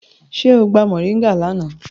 Ṣe o gba mọringá lana?